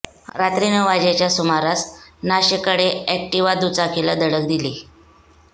रात्री नऊ वाजेच्या सुमारास नाशिककडे ऍक्टिवा दुचाकीला धडक दिली